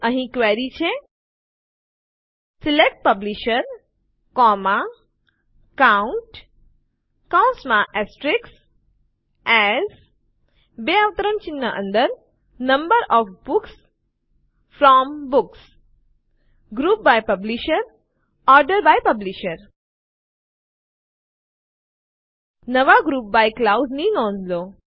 અહીં ક્વેરી છે select publisher COUNT as number of books from books group by publisher order by publisher નવા group by clause ની નોંધ લો